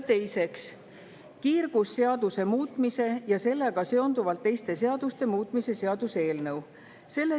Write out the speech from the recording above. Teiseks, kiirgusseaduse muutmise ja sellega seonduvalt teiste seaduste muutmise seaduse eelnõu.